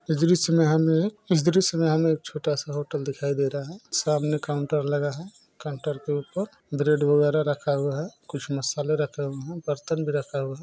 इस दृश्य में हमें इस दृश्य में हमें एक छोटा-सा होटल दिखाई दे रहा है| सामने काउन्टर लगा है काउन्टर के ऊपर ब्रेड वगैरा रखा हुआ है कुछ मसाले रखे हुए हैं बर्तन भी रखा हुआ है।